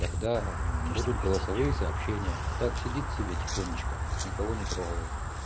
когда будут голосовые сообщения а так сидит себе тихонечко никого не трогает